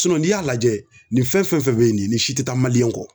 Sinɔn n'i y'a lajɛ nin fɛn fɛn fɛn be ye nin ye si te taa maliyɛn kɔ